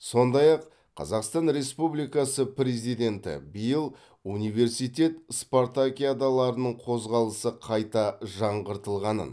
сондай ақ қазақтан республикасы президенті биыл университет спартакиадаларының қозғалысы қайта жаңғыртылғанын